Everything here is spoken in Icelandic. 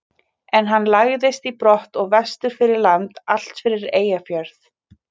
En hann lagðist í brott og vestur fyrir land, allt fyrir Eyjafjörð.